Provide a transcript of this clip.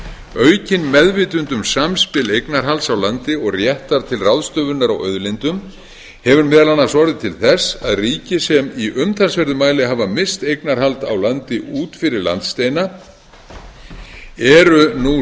aukin meðvitund um samspil eignarhalds á landi og réttar til ráðstöfunar á auðlindum hefur meðal annars orðið til þess að ríki sem í umtalsverðum mæli hafa misst eignarhald á landi út fyrir landsteina eru nú